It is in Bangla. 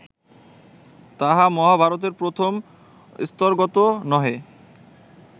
তাহা মহাভারতের প্রথম স্তরগতও নহে